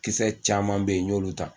Kisɛ caman bɛ yen n y'olu ta.